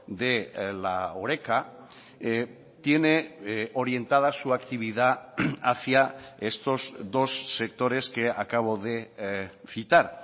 de la horeca tiene orientada su actividad hacia estos dos sectores que acabo de citar